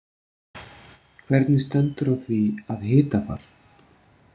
Hvernig stendur á því að hitafar.